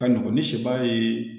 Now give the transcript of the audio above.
Ka nɔgɔn ni sebaa ye